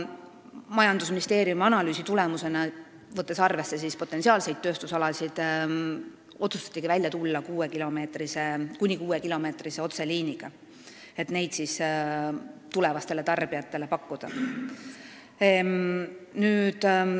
Majandusministeeriumi analüüsi tulemusena otsustatigi välja tulla kuni kuuekilomeetrise otseliiniga, et neid võimalusi tulevastele tarbijatele pakkuda.